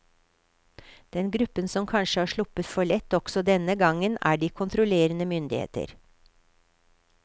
Den gruppen som kanskje har sluppet for lett også denne gangen er de kontrollerende myndigheter.